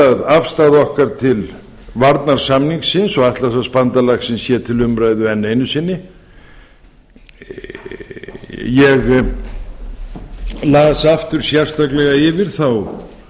að afstaða okkar til varnarsamningsins og atlantshafsbandalagsins sé til umræðu enn einu sinni ég las aftur sérstaklega yfir þá